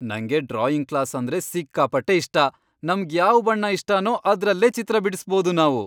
ನಂಗೆ drawing class ಅಂದ್ರೆ ಸಿಕ್ಕಾಪಟ್ಟೆ ಇಷ್ಟ. ನಮ್ಗ್ ಯಾವ್ ಬಣ್ಣ ಇಷ್ಟನೋ ಅದ್ರಲ್ಲೇ ಚಿತ್ರ ಬಿಡಿಸ್ಬೋದು ನಾವು.